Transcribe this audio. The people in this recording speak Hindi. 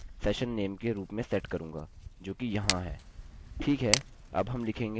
मैं इस user बेरिएबल को session नेम के रूप में सेट करूँगा जोकि यहाँ है